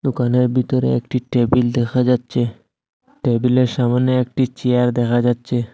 দোকানের ভিতরে একটি টেবিল দেখা যাচ্ছে টেবিলের সামনে একটি চেয়ার দেখা যাচ্ছে।